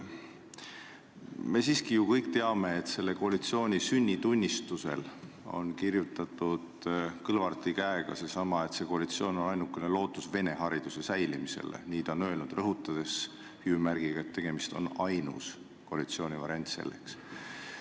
Me kõik ju siiski teame, et selle koalitsiooni sünnitunnistusele on Kõlvarti käega kirjutatud, et see koalitsioon on ainukene lootus venekeelset haridust säilitada – nii on ta öelnud –, rõhutades hüüumärgiga, et tegemist on ainsa koalitsioonivariandiga, mis seda võimaldab.